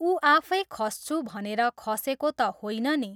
ऊ आफै खस्छु भनेर खसेको त होइन नि!